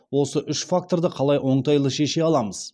осы үш факторды қалай оңтайлы шеше аламыз